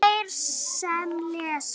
Þeir sem lesa